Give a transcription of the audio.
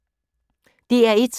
DR1